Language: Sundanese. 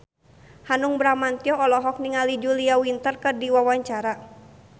Hanung Bramantyo olohok ningali Julia Winter keur diwawancara